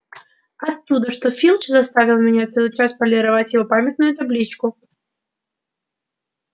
оттуда что филч заставил меня целый час полировать его памятную табличку